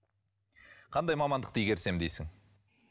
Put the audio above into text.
қандай мамандықты игерсем дейсің